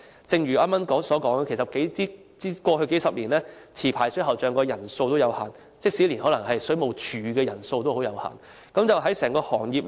正如我剛才所說，過去數十年，持牌水喉匠人手有限，即使水務署的人手也可能十分有限。